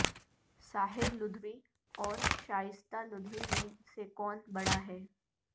ساحر لودھی اور شائستہ لودھی میں سے کون بڑا ہے